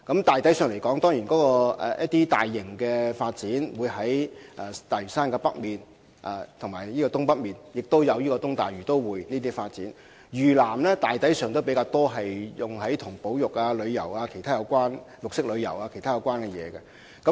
大體來說，大型發展會在大嶼山北及東北進行，此外還有東大嶼都會發展，而嶼南大抵會進行與保育、旅遊、綠色旅遊等有關的項目。